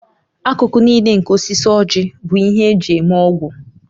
Akụkụ niile nke osisi ójì bụ ihe eji eme ọgwụ